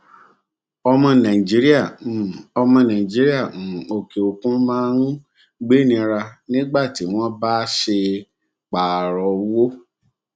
ọmọ nàìjíríà um ọmọ nàìjíríà um òkè òkun máa n gbénira um nígbà tí wọn bá ṣe pààrọ owó